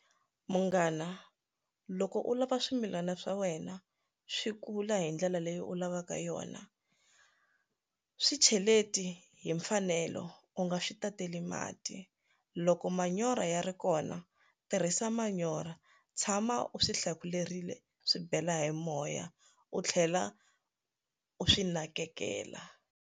Munghana loko u lava swimilana swa wena swi kula hi ndlela leyi u lavaka yona swi cheleti hi mfanelo u nga swi ta tele mali mati loko manyoro ya ri kona tirhisa manyorha tshama u swi hlakulerile swi bela hi moya u tlhela u swi nakekela.